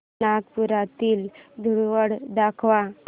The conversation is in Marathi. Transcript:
नागपुरातील धूलवड दाखव